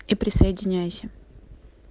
и присоединяйся